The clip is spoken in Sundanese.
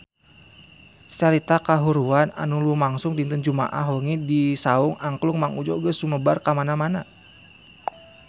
Carita kahuruan anu lumangsung dinten Jumaah wengi di Saung Angklung Mang Udjo geus sumebar kamana-mana